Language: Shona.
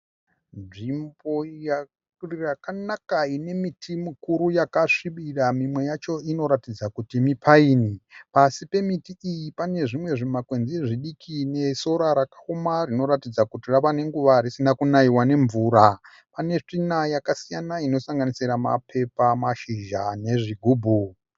Nzvimbo yakanaka inemiti mukuru yakasvibira mimwe yacho inoratidza kuti mipaini. Pasi pemiti iyi pane zvimwe zvimakwenzi zvidiki nesora rakaoma rinoratidza kuti ravanenguva risina kunaiwa nemvura. Panetsvina yakasiyana inosanganisira mapepa, mashizha nezvigubhu.